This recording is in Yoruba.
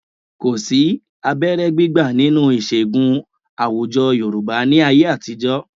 Kò sí abẹ́rẹ́ gbígbà nínú ìṣègùn àwùjọ Yorùbá ní ayé àtijọ́.